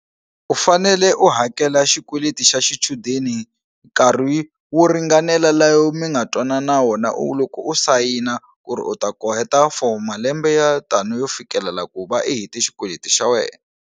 U fanele u hakela xikweleti xa xichudeni nkarhi wo ringanela layo mi nga twanana wona u loko u sayina ku ri u ta ku heta for malembe ya tano yo fikelala ku va i hete xikweleti xa wena.